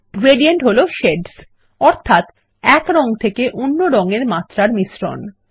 gradient হল shades যা হল এক রং থেকে অন্য রঙের মাত্রার মিশ্রন